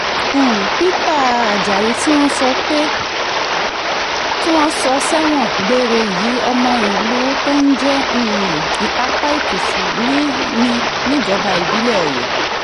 um peter ajayi tí wọ́n sọ sẹ́wọ̀n gbére yìí ọmọ ìlú kan tó ń jẹ́ um ìtàpá èkìtì ni níjọba ìbílẹ̀ ọyẹ́